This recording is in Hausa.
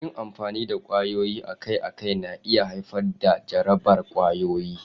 Yin amfani da kwayoyi akai-akai na iya haifar da jarabar ƙwayoyi.